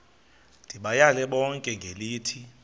ndibayale bonke ngelithi